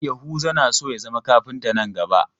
Yahuza na so ya zama kafinta nan gaba.